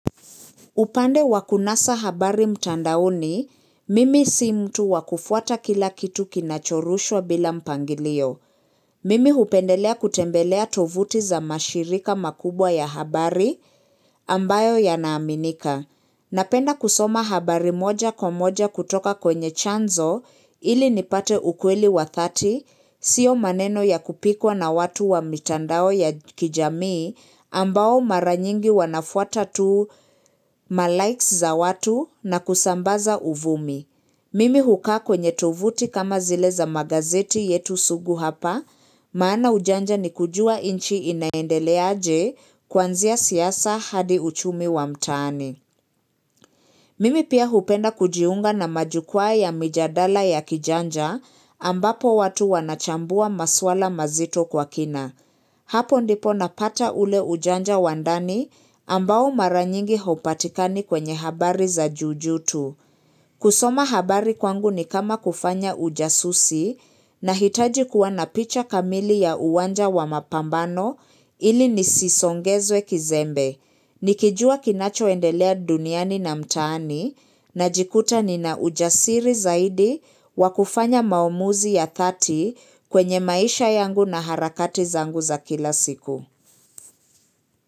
Upande wa kunasa habari mtandaoni, mimi si mtu wa kufuata kila kitu kinachorushwa bila mpangilio. Mimi hupendelea kutembelea tovuti za mashirika makubwa ya habari ambayo yanaaminika. Napenda kusoma habari moja kwa moja kutoka kwenye chanzo ili nipate ukweli wa dhati, sio maneno ya kupikwa na watu wa mitandao ya kijamii ambao maranyingi wanafuata tu malikes za watu na kusambaza uvumi. Mimi hukaa kwenye tuvuti kama zile za magazeti yetu sugu hapa, maana ujanja ni kujua nchi inaendeleaje kuanzia siasa hadi uchumi wa mtaani. Mimi pia hupenda kujiunga na majukwaa ya mijadala ya kijanja ambapo watu wanachambua maswala mazito kwa kina. Hapo ndipo napata ule ujanja wa ndani ambao maranyingi haupatikani kwenye habari za jujuu tu. Kusoma habari kwangu ni kama kufanya ujasusi nahitaji kuwa na picha kamili ya uwanja wa mapambano ili nisisongezwe kizembe. Nikijua kinachoendelea duniani na mtaani najikuta nina ujasiri zaidi wa kufanya maamuzi ya dhati kwenye maisha yangu na harakati zangu za kila siku.